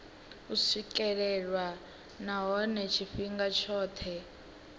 u swikelelwa nahone tshifhinga tshothe